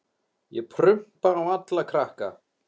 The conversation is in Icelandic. Ég prumpa á alla krakka.